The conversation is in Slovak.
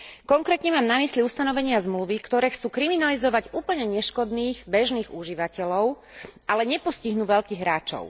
Konkrétne mám na mysli ustanovenia zmluvy, ktoré chcú kriminalizovať úplne neškodných bežných užívateľov, ale nepostihnú veľkých hráčov.